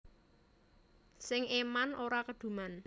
Sing eman ora keduman